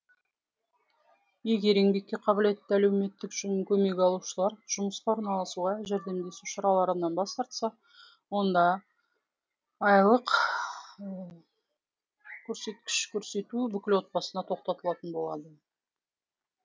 егер еңбекке қабілетті әлеуметтік көмек алушылар жұмысқа орналасуға жәрдемдесу шараларынан бас тартса онда көрсеткіш көрсету бүкіл отбасына тоқтатылатын болған